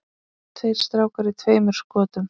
Tveir strákar í tveimur skotum.